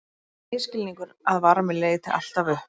Það er misskilningur að varmi leiti alltaf upp.